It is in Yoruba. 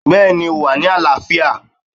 Bẹ́ẹ̀ni o wà ní àlááfíà